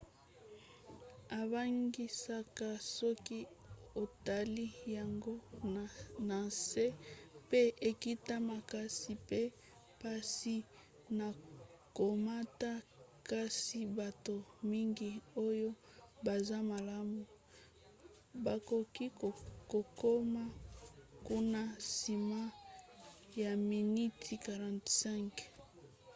ebangisaka soki otali yango na nse mpe ekita makasi mpe mpasi na komata kasi bato mingi oyo baza malamu bakoki kokoma kuna nsima ya miniti 45